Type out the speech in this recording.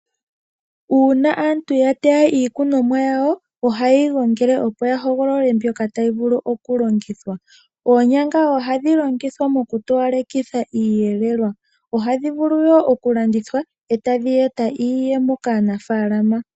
uuna aantu ya teya iikunomwa yawo ohaye yi gongele, opo ya hogolole mbyoka tayi vulu okulongithwa. Oonyanga ohadhi longithwa mokutowalekitha iiyelelwa. Ohadhi vulu wo okulandithwa e tadhi eta iiyemo kaanafaalama.